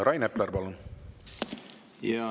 Rain Epler, palun!